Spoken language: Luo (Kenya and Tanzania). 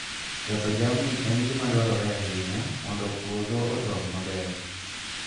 Ketho jamni en gima dwarore ahinya mondo puodho odong maber.